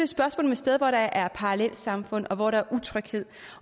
spørgsmål om et sted hvor der er parallelsamfund og hvor der er utryghed